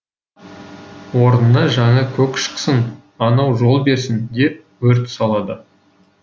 орнына жаңа көк шықсын анау жол берсін деп өрт салады